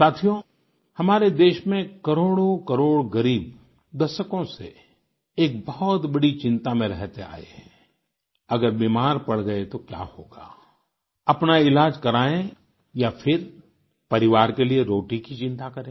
साथियो हमारे देश में करोडोंकरोड़ ग़रीब दशकों से एक बहुत बड़ी चिंता में रहते आए हैं अगर बीमार पड़ गए तो क्या होगा अपना इलाज कराएं या फिर परिवार के लिए रोटी की चिंता करें